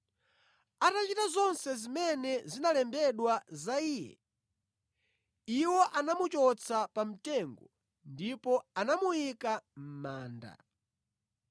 Atachita zonse zimene zinalembedwa za Iye, iwo anamuchotsa pa mtengo ndipo anamuyika mʼmanda.